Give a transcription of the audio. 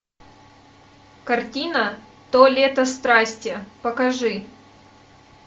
картина то лето страсти покажи